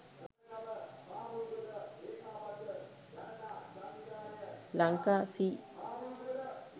lanka c